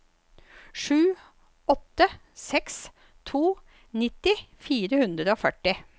sju åtte seks to nittito fire hundre og førti